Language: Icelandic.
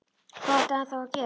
Hvað átti hann þá að gera?